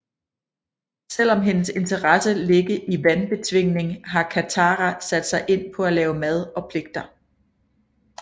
Selvom hendes interesse ligge i vandbetvingning har Katara sat sig ind på at lave mad og pligter